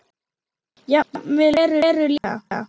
Jafnvel Heru líka.